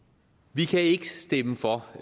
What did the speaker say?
vi kan ikke stemme for